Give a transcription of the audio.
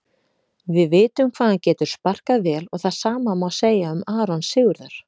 Við vitum hvað hann getur sparkað vel og það sama má segja um Aron Sigurðar.